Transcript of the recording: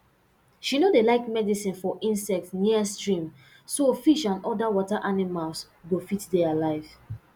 she no dey like medicine for insects near stream so fish and other water animals go fit dey alive